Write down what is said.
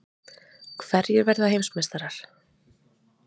Hverjir verða heimsmeistarar?